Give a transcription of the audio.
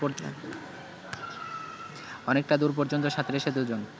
অনেকটা দূর পর্যন্ত সাঁতরেছে দুজন